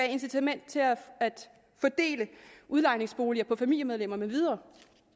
incitament til at fordele udlejningsboliger på familiemedlemmer med videre